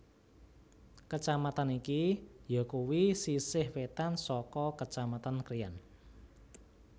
Kecamatan iki yakuwi sisih wetan saka Kecamatan Krian